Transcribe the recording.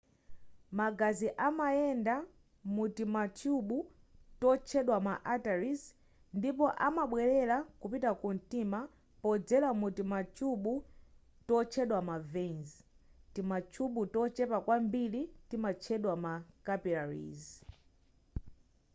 magazi amayenda mutimathyubu totchedwa ma arteries ndipo amabwelera kupita ku mtima podzera mtimathyubu totchedwa ma veins timathyubu tochepa kwambiri timatchedwa ma capillaries